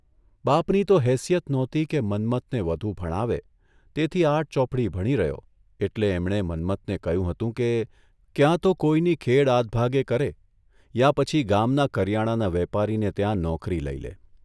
બાપની તો હેસિયત નહોતી કે મન્મથને વધુ ભણાવે તેથી આઠ ચોપડી ભણી રહ્યો એટલે એમણે મન્મથને કહ્યું હતું કે, ક્યાં તો કોઇની ખેડ આધભાગે કરે યા પછી ગામના કરિયાણાના વેપારીને ત્યાં નોકરી લઇ લે.